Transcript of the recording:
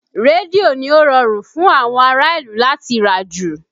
Rédíò ni ó rọrùn fún àwọn ará ìlú láti rà jù